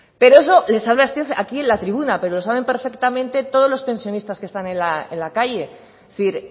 pero eso le salva usted aquí en la tribuna pero lo saben perfectamente todos los pensionistas que están en la calle es decir